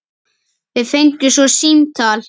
Við fengum svo símtal.